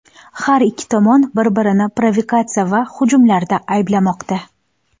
Har ikki tomon bir-birini provokatsiya va hujumlarda ayblamoqda.